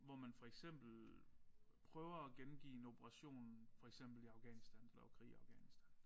Hvor man for eksempel prøver at gengive en operation for eksempel i Afghanistan da der var krig i Afghanistan